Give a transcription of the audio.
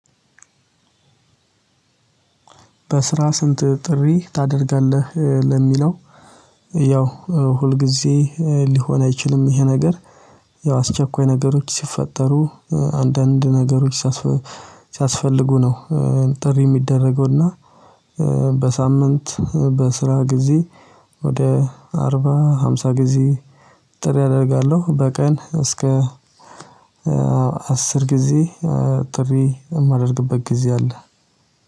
በስራ ስንት ጥሪ ታደርጋለህ? ለሚለው ያው ሁልጊዜ ሊሆን አይችልም ይሄ ነገር ያው አስቸኳይ ነገሮች ሲፈጠሩ አንዳንድ ነገሮች ሲያስፈልጉ ነው። ጥሪ የሚደረገውና በሳምንት በስራ ጊዜ ወደ አርባ ሃምሳ ጊዜ ጥሪ አደርጋለሁ። በቀን እስከ አስር ጊዜ ጥሪ የማደርግበት ጊዜ አለ።